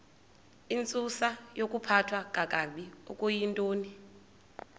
intsusayokuphathwa kakabi okuyintoni